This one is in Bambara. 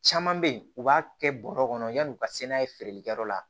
Caman bɛ yen u b'a kɛ bɔrɔ kɔnɔ yan'u ka se n'a ye feereli kɛ yɔrɔ la